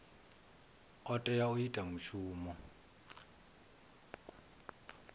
o tea u ita mushumo